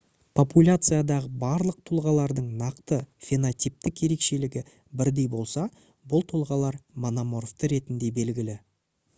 популяциядағы барлық тұлғалардың нақты фенотиптік ерекшелігі бірдей болса бұл тұлғалар мономорфты ретінде белгілі